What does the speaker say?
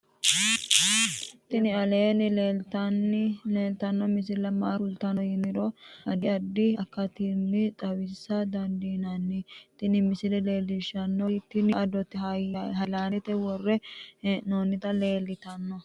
tini aleenni leeltanno misile maa kultanno yiniro addi addi akatinni xawisa dandiinnanni tin misile leellishshannori tini adote haylandete worre hee'noonniti leeltannoe